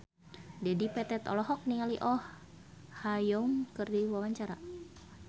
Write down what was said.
Dedi Petet olohok ningali Oh Ha Young keur diwawancara